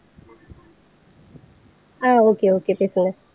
ஆஹ் okay okay பேசுங்க